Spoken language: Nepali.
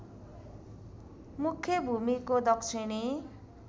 मुख्य भूमिको दक्षिणी